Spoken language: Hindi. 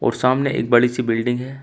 वो सामने एक बड़ी सी बिल्डिंग हैं।